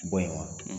Bɔ yen wa